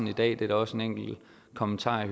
i dag der er også en enkelt kommentar i